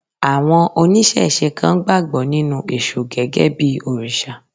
Àwọn oníṣẹ̀se kan gbàgbọ́ nínú èṣù gẹ́gẹ́ bí òrìṣà.